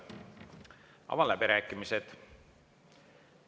Avan läbirääkimised.